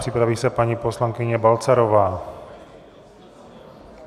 Připraví se paní poslankyně Balcarová.